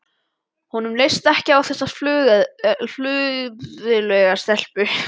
Honum leist ekkert á þessa fleðulegu stelpu.